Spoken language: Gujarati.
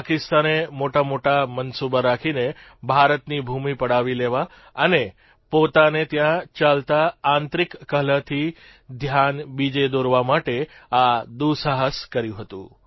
પાકિસ્તાને મોટામોટા મનસૂબા રાખીને ભારતની ભૂમિ પડાવી લેવા અને પોતાને ત્યાં ચાલતા આંતરિક કલહથી ધ્યાન બીજે દોરવા માટે આ દુઃસાહસ કર્યું હતું